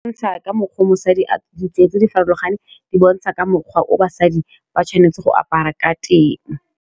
Go bontsha ka mokgwa mosadi ditsela tse di farologaneng di bontsha ka mokgwa o basadi ba tshwanetse go apara ka teng.